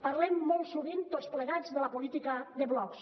parlem molt sovint tots plegats de la política de blocs